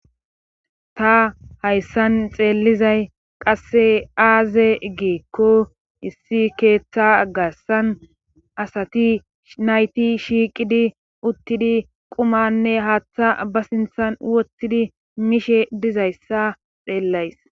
Ta hayssan xeellizay qasse aaze giikko issi keeththa garsan asati nayti shiiqidi uttidi qumanne haaththa ba sinthan wottidi mishe dizayssa xeellays.